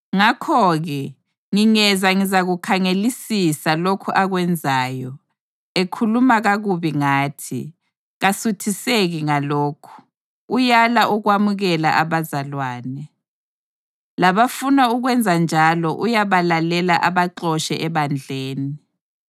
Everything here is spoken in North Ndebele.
Ngakho-ke, ngingeza ngizakukhangelisisa lokhu akwenzayo, ekhuluma kakubi ngathi. Kasuthiseki ngalokho, uyala ukwamukela abazalwane. Labafuna ukwenzanjalo uyabalela abaxotshe ebandleni.